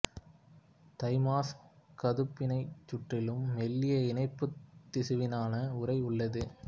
thymus கதுப்பினச் சுற்றிலும் மெல்லிய இணைப்புத் திசுவினாலான உறை உள்ளது